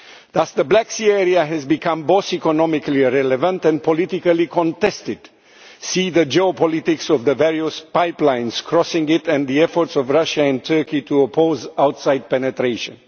Thus the Black Sea Area has become both economically relevant and politically contested, as witness the geopolitics of the various pipelines crossing it and the efforts by Russia and Turkey to oppose outside penetration.